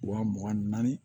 Wa mugan ni naani